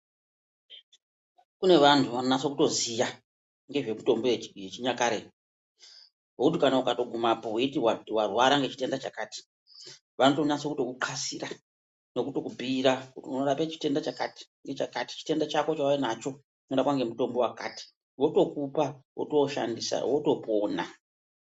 Kune vantu vanonase kutoziya ngezvemitombo yechinyakare vokuti kana ukatogumapo weiti warwara ngechitenda chakati vanotonasa kukuhlasira nekutokubhuira mutombo unorape chakati chakati. Chitenda chako chauinacho chinorapwa ngemutombo wakati votokupa wotooushandisa wotopona.